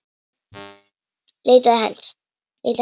Leitaði hans.